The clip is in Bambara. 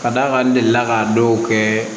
Ka d'a kan n delila ka dɔw kɛ